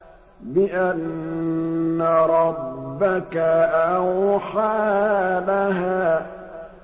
بِأَنَّ رَبَّكَ أَوْحَىٰ لَهَا